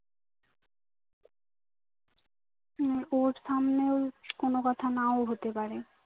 উম ওর সামনেও কোনো কথা নাও হতে পারে